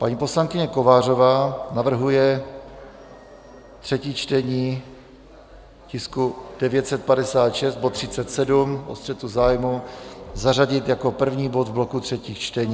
Paní poslankyně Kovářová navrhuje třetí čtení tisku 956, bod 37, o střetu zájmů zařadit jako první bod v bloku třetích čtení.